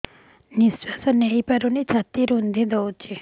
ନିଶ୍ୱାସ ନେଇପାରୁନି ଛାତି ରୁନ୍ଧି ଦଉଛି